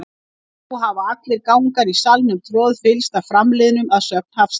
Nú hafa allir gangar í salnum troðfyllst af framliðnum, að sögn Hafsteins.